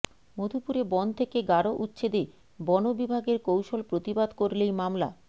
মধুপুরে বন থেকে গারো উচ্ছেদে বন বিভাগের কৌশল প্রতিবাদ করলেই মামলা